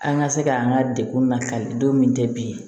An ka se ka an ka degun lakali don min tɛ bilen